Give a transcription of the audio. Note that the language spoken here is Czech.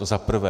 To za prvé.